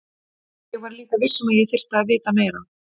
Ég var líka viss um að ég þyrfti að vita fleira.